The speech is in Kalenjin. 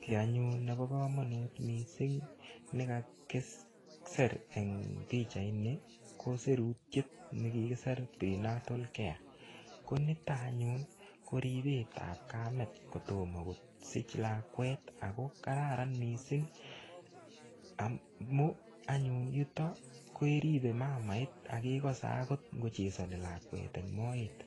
Kiy anyun nebo komonut missing ne kakisir eng pichait ni, ko sirutiet ne kikisir prenatal care. Ko niton anyun, ko ripetap kamet kotomo kosich lakwet. Ako kararan missing amu anyun yutok, keribe mamait, akekase agot ngochesani lakwet ing moet.